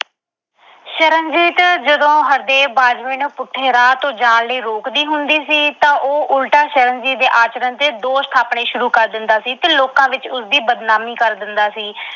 ਸ਼ਰਨਜੀਤ ਜਦੋਂ ਹਰਦੇਵ ਬਾਜਵੇ ਨੂੰ ਪੁੱਠੇ ਰਾਹ ਤੋਂ ਜਾਣ ਲਈ ਰੋਕਦੀ ਹੁੰਦੀ ਸੀ, ਤਾਂ ਉਹ ਉਲਟਾ ਸ਼ਰਨਜੀਤ ਦੇ ਆਚਰਣ ਤੇ ਦੋਸ਼ ਠਾਪਣੇ ਸ਼ੁਰੂ ਕਰ ਦਿੰਦਾ ਸੀ ਤੇ ਲੋਕਾਂ ਵਿੱਚ ਉਸ ਦੀ ਬਦਨਾਮੀ ਕਰ ਦਿੰਦਾ ਸੀ।